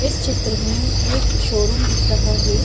इस चित्र में एक शोरूम दिख रहा है।